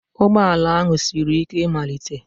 Ụgbọ ala ahụ siri ike ịmalite